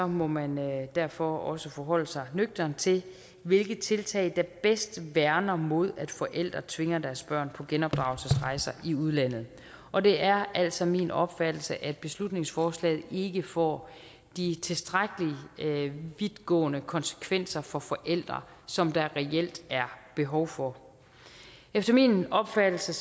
må man derfor også forholde sig nøgternt til hvilke tiltag der bedst værner mod at forældre tvinger deres børn på genopdragelsesrejser i udlandet og det er altså min opfattelse at beslutningsforslaget ikke får de tilstrækkelig vidtgående konsekvenser for forældre som der reelt er behov for efter min opfattelse